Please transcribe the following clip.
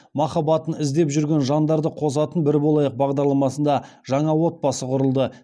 махаббатын іздеп жүрген жандарды қосатын бір болайық бағдарламасында жаңа отбасы құрылды